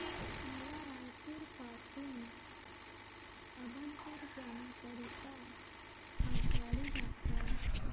मला रायपुर पासून अभनपुर जाण्या करीता आगगाडी दाखवा